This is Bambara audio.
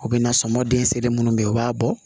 U bɛ na sɔmɔ dinsenin minnu bɛ yen u b'a bɔ